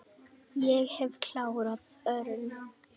Ég hef klárað Örn.